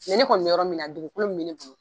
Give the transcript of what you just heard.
ne kɔni be yɔrɔ min na dugukolo min be ne